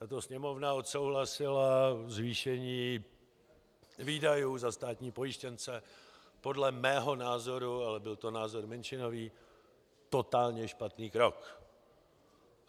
Tato Sněmovna odsouhlasila zvýšení výdajů za státní pojištěnce, podle mého názoru, ale byl to názor menšinový, totálně špatný krok.